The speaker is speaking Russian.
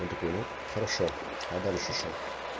он такой ну хорошо а дальше что